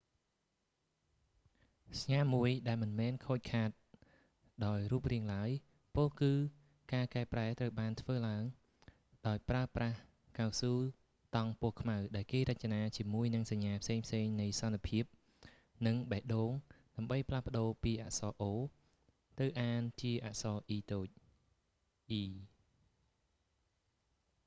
សញ្ញាមួយមិនមែនខូចខាតដោយរូបរាង្គឡើយ ពោលគឺការកែប្រែត្រូវបានធ្វើឡើងដោយប្រើប្រាស់កៅស៊ូតង់ពណ៌ខ្មៅដែលគេរចនាជាមួយនឹងសញ្ញាផ្សេងៗនៃសន្តិភាពនិងបេះដូងដើម្បីផ្លាស់ប្តូរពីអក្សរ ៉អូ o ទៅអានជាអក្សរតូច អ៊ី e